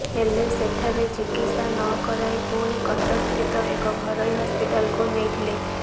ହେଲେ ସେଠାରେ ଚିକିତ୍ସା ନକରାଇ ପୁଣି କଟକ ସ୍ଥିତ ଏକ ଘରୋଇ ହସ୍ପିଟାଲକୁ ନେଇଥିଲେ